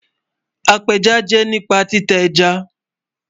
Apéjá jẹ́ nípa títa ẹ́já.